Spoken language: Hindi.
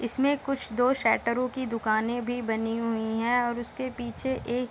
इसमें कुछ दो शेटरो की दुकाने भी बनी हुई है और उसके पीछे एक --